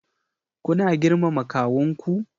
Kuna girmama kawunku?